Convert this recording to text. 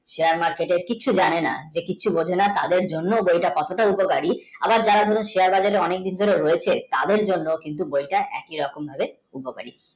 Share market কিছু জানে না যে কিছু বোঝে না তাদের জন্য যে কতটা উপকারী আবার ধরো যারা share বাজারে অনেকদিন ধরে রয়েছে তাদের জন্য কিন্তু বইটা একই রকম ভাবে উপকারী